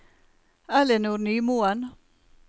Ellinor Nymoen